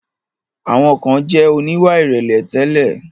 Àwọn kan jẹ̀ oníwà ìrẹ̀lẹ̀ tẹ́lẹ̀.